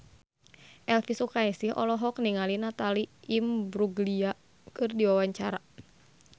Elvy Sukaesih olohok ningali Natalie Imbruglia keur diwawancara